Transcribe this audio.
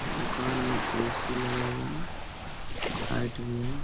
दुकान में ए.सी. लगा हुआ है लाइट भी है। .